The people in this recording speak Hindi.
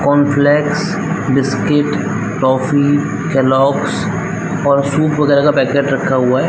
कॉर्नफ़्लेक्स बिस्किट टॉफ़ी केलोग्स और सूप वगेरा का पैकेट रखा हुआ है ।